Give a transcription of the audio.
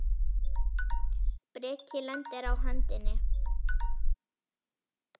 Breki: Lendir á hendinni?